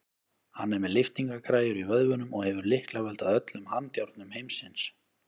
Hann er með lyftingagræjur í vöðvunum og hefur lyklavöld að öllum handjárnum heimsins.